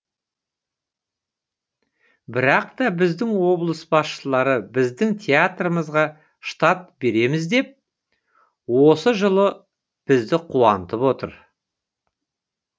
бірақ та біздің облыс басшылары біздің театрымызға штат береміз деп осы жылы бізді қуантып отыр